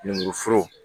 Lemuruforo